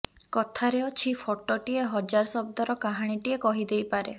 କଥାରେ ଅଛି ଫଟୋଟିଏ ହଜାର ଶବ୍ଦର କାହାଣୀଟିଏ କହି ଦେଇପାରେ